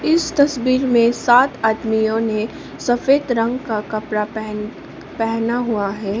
इस तस्वीर में सात आदमियों ने सफेद रंग का कपड़ा पहेन पेहना हुआ है।